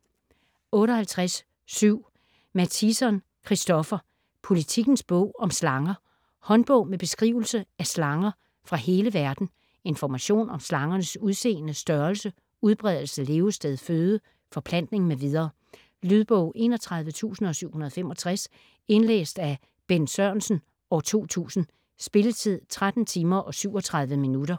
58.7 Mattison, Christopher: Politikens bog om slanger Håndbog med beskrivelse af slanger fra hele verden. Information om slangernes udseende, størrelse, udbredelse, levested, føde, forplantning mv. Lydbog 31765 Indlæst af Bent Sørensen, 2000. Spilletid: 13 timer, 37 minutter.